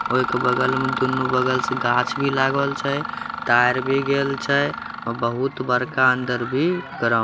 और इक बगल में दुनु बगल से गाछ भी लागल छे तार भी गेल छे और बहुत बड़का अंदर भी ग्राउंड --